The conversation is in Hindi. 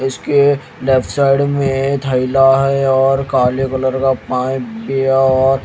इसके लेफ्ट साइड में थैला है और काले कलर का पाइप भी है और--